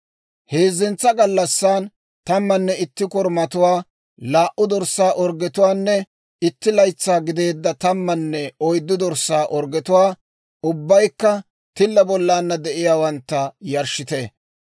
« ‹Heezzentsa gallassan, tammanne itti korumatuwaa, laa"u dorssaa orggetuwaanne itti laytsaa gideedda tammanne oyddu dorssaa orggetuwaa, ubbaykka tilla bollana de'iyaawantta, yarshshite.